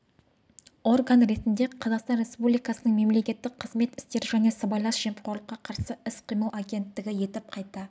орган ретінде қазақстан республикасының мемлекеттік қызмет істері және сыбайлас жемқорлыққа қарсы іс-қимыл агенттігі етіп қайта